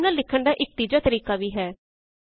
formula ਲਿਖਣ ਦਾ ਇਕ ਤੀਜਾ ਤਰੀਕਾ ਵੀ ਹੈ